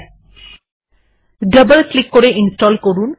icon এ double click করে এই রিডার ইনস্টল করুন